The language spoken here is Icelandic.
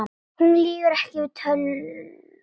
Hún lýgur ekki, við töldum